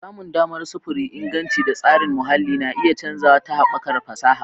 Samun damar sufuri, inganci, da tasirin muhalli na iya canzawa ta haɓakar fasaha.